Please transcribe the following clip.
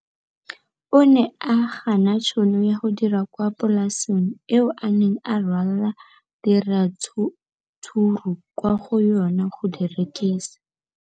O ne a gana tšhono ya go dira kwa polaseng eo a neng rwala diratsuru kwa go yona go di rekisa.